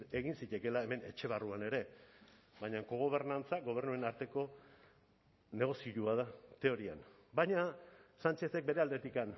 egin zitekeela hemen etxe barruan ere baina kogobernantza gobernuen arteko negozioa da teorian baina sánchezek bere aldetik